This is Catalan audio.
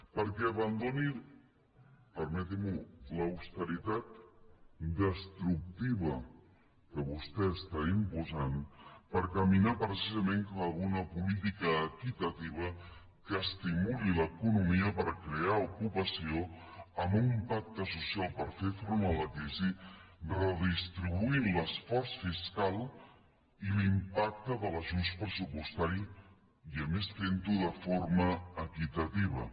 perquè abandoni permeti m’ho l’austeritat destructiva que vostès estan imposant per caminar precisament cap a una política equitativa que estimuli l’economia per crear ocupació amb un pacte social per fer front a la crisi redistribuint l’esforç fiscal i l’impacte de l’ajust pressupostari i a més fentho de forma equitativa